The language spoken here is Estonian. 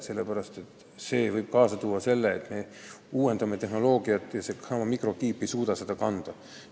Nimelt võib selline muudatus tuua kaasa selle, et me uuendame tehnoloogiat, aga seesama mikrokiip ei suuda seda kanda.